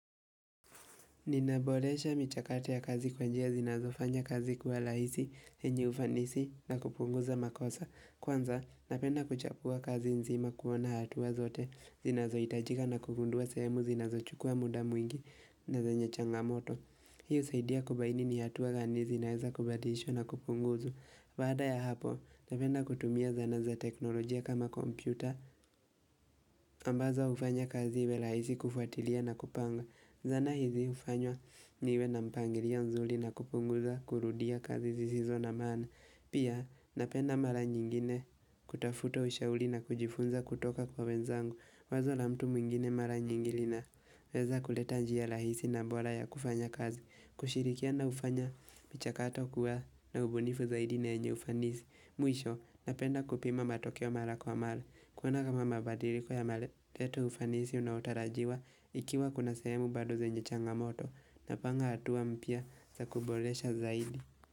Ninaboresha michakato ya kazi kwa njia zinazofanya kazi kwa laisi, yenyi ufanisi na kupunguza makosa. Kwanza napenda kuchapua kazi nzima kuona hatua zote zinazoitajika na kugundua semu zinazochukua muda mwingi na zenye changamoto. Hi usaidia kubaini ni hatua gani zinaeza kubadishwa na kupunguza. Baada ya hapo napenda kutumia zana za teknolojia kama kompyuta ambazo ufanya kazi iwe laisi kufuatilia na kupanga. Zana hizi ufanywa niwe na mpangilio nzuli na kupunguza kurudia kazi zisizo na maana. Pia napenda mara nyingine kutafuta ushauli na kujifunza kutoka kwa wenzangu. Wazo la mtu mwingine mara nyingi lina. Weza kuleta njia lahisi na bora ya kufanya kazi. Kushirikiana ufanya, michakato kuwa na ubunifu zaidi na yenye ufanisi. Mwisho, napenda kupima matokeo mara kwa mara. Kuona kama mabadiliko yamaleta ufanisi unaotarajiwa ikiwa kuna sehemu bado zenye changamoto napanga hatua mpya za kuboresha zaidi.